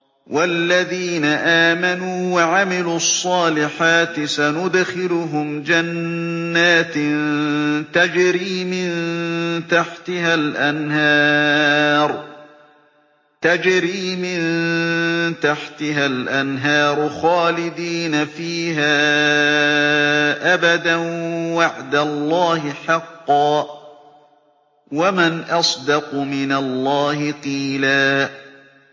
وَالَّذِينَ آمَنُوا وَعَمِلُوا الصَّالِحَاتِ سَنُدْخِلُهُمْ جَنَّاتٍ تَجْرِي مِن تَحْتِهَا الْأَنْهَارُ خَالِدِينَ فِيهَا أَبَدًا ۖ وَعْدَ اللَّهِ حَقًّا ۚ وَمَنْ أَصْدَقُ مِنَ اللَّهِ قِيلًا